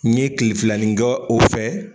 N ye tilefilanin kɛ o fɛ